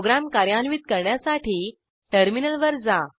program कार्यान्वित करण्यासाठी टर्मिनलवर जा